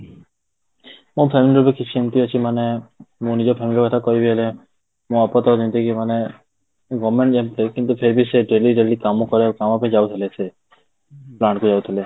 ମୋ family ରେ ବି କିଛି ଏମିତି ଅଛି ମାନେ ମୁଁ ନିଜ family କଥା କହିବି ଏଇନେ ମୋ ବାପା ତ ଯେମିତି କି ମାନେ government ଯେମିତି କିନ୍ତୁ ସେ ବି ସେଇଠି daily daily କାମ କରିବାକୁ କାମ ରେ ଯାଉଥିଲେ ସେ କୁ ଯାଉଥିଲେ ସେ